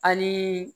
Hali